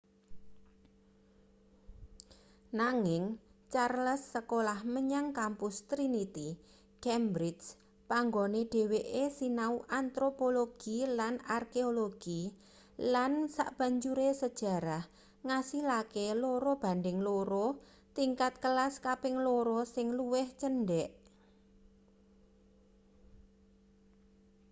nanging charles sekolah menyang kampus trinity cambridge panggone dheweke sinau antropologi lan arkeologi lan sabanjure sejarah ngasilake 2:2 tingkat kelas kaping loro sing luwih cendhek